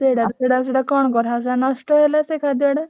ସେଟା ସେଟା କଣ କରାହବ ସେଟା ନଷ୍ଟ ହେଲା ସେ ଖାଦ୍ୟଗୁଡା।